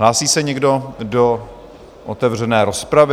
Hlásí se někdo do otevřené rozpravy?